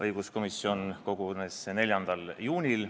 Õiguskomisjon kogunes 4. juunil.